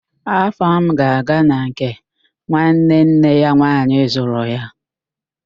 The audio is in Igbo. Afam ga-aga na nke nwanne nne ya nwaanyị zụrụ ya